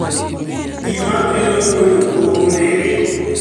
Gima kelo tuono pok ong'ere.